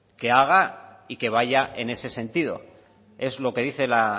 que haga y que vaya en ese sentido es lo que dice la